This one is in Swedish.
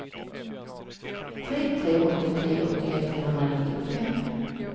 tre tre åtta tre åttioett trehundranittiofem